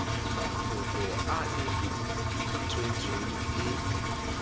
mafoko a e tswetswe e